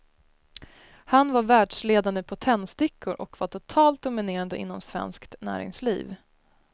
Han var världsledande på tändstickor och var totalt dominerande inom svenskt näringsliv.